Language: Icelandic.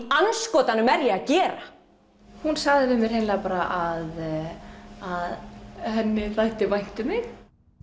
andskotanum er ég að gera hún sagði við mig hreinlega bara að henni þætti vænt um mig